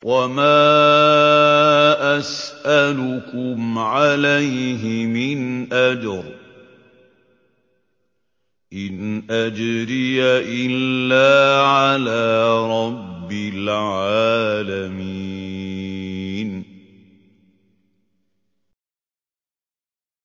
وَمَا أَسْأَلُكُمْ عَلَيْهِ مِنْ أَجْرٍ ۖ إِنْ أَجْرِيَ إِلَّا عَلَىٰ رَبِّ الْعَالَمِينَ